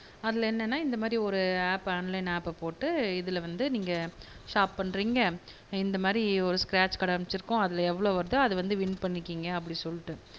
அதுல என்னனா இந்த மாதிரி ஒரு ஆப் ஆன்லைன் ஆப்ப போட்டு இதுல வந்து நீங்க ஷாப் பண்றிங்க இந்த மாதிரி ஒரு ஸ்க்ரேச் கார்டு அதுல எவ்ளோ வருதோ அது வந்து வின் பண்ணிக்கங்க அப்படினு சொல்லிட்டு